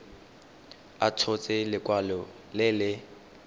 a tshotse lekwalo le le